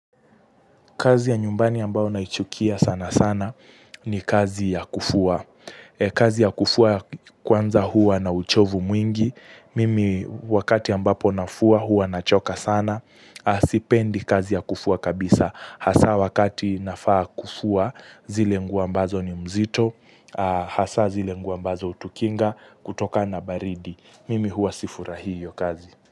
Kazi ya nyumbani ambao naichukia sana sana ni kazi ya kufua. Kazi ya kufua kwanza huwa na uchovu mwingi. Mimi wakati ambapo nafua huwa nachoka sana. Sipendi kazi ya kufua kabisa. Hasa wakati nafaa kufua zile nguo ambazo ni mzito. Hasa zile nguo ambazo hutikinga kutokana baridi. Mimi huwa sifurahi hio kazi.